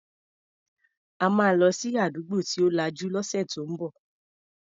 A máa lọ sí àdúgbò tí ò lajú lọ́sẹ̀ tó ń bọ̀.